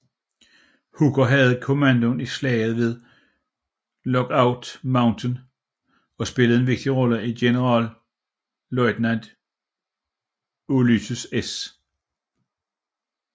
Hooker havde kommandoen i slaget ved Lookout Mountain og spillede en vigtig rolle i generalløjtnant Ulysses S